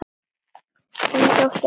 Þín dóttir, Alda.